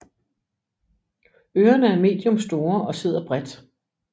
Ørerne er medium store og sidder bredt